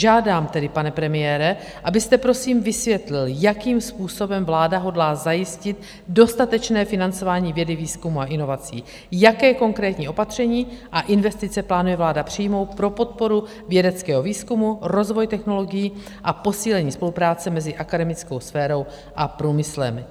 Žádám tedy, pane premiére, abyste prosím vysvětlil, jakým způsobem vláda hodlá zajistit dostatečné financování vědy, výzkumu a inovací, jaké konkrétní opatření a investice plánuje vláda přijmout pro podporu vědeckého výzkumu, rozvoj technologií a posílení spolupráce mezi akademickou sférou a průmyslem.